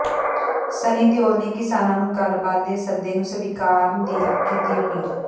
ਸੰਨੀ ਦਿਓਲ ਨੇ ਕਿਸਾਨਾਂ ਨੂੰ ਗੱਲਬਾਤ ਦੇ ਸੱਦੇ ਨੂੰ ਸਵੀਕਾਰਨ ਦੀ ਕੀਤੀ ਅਪੀਲ